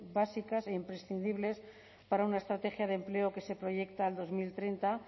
básicas e imprescindibles para una estrategia de empleo que se proyecta al dos mil treinta